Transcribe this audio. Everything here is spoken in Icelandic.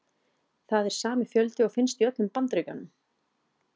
Það er sami fjöldi og finnst í öllum Bandaríkjunum.